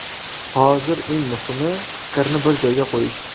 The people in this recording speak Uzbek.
Hozir eng muhimi fikrni bir joyga qo‘yish”.